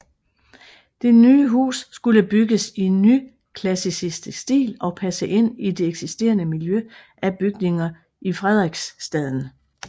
Det nye hus skulle bygges i nyklassicistisk stil og passe ind i det eksisterende miljø af bygninger i Frederiksstaden